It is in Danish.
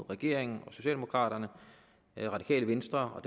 regeringen og socialdemokraterne det radikale venstre og